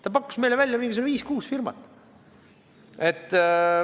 Ta pakkus meile välja viis või kuus firmat.